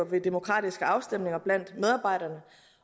ved demokratiske afstemninger blandt medarbejderne